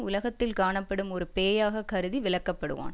உலகத்தில் காணப்படும் ஒரு பேயாக கருதி விலக்கப்படுவான்